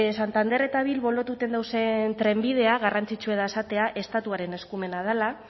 santander eta bilbo lotuten dauzen trenbidea garrantzitsua da esatea estatuaren eskumena dela